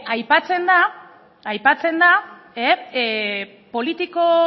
aipatzen da